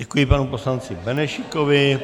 Děkuji panu poslanci Benešíkovi.